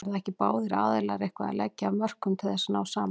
Verða ekki báðir aðilar eitthvað að leggja af mörkum til þess að ná saman?